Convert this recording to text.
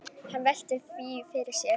Hann veltir því fyrir sér.